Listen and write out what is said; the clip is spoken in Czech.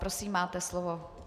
Prosím, máte slovo.